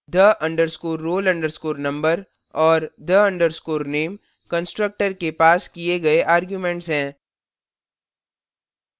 the _ roll _ number और the _ name constructor के passed किए गए आर्ग्युमेंटस हैं